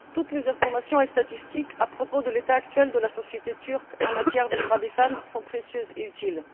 Toutes les informations et statistiques à propos de l'état actuel de la société turque en matière de droits des femmes sont précieuses et utiles.